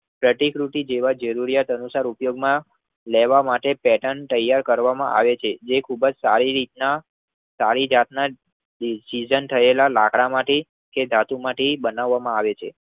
કેટિંગ રૂટી જેવાજ જરુરુયાત અનુસાર ઉપયોગમાં લેવા માટે પેટર્ન તૈયાર કરવામાં આવે છે. જે ખુબ જ સારી રીતના પારિજાતના જ ડિઝાઇન થયેલા લાકડામાંથી કે ધાતુ માંથી બનાવામાં આવે છે.